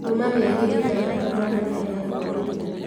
Kuuma mĩerĩ ĩtandatũ mwana nĩ aheagwo irio